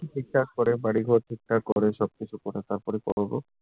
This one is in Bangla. ঠিকঠাক করে, বাড়িঘর ঠিকঠাক করে, সবকিছু করে, তারপর করবো।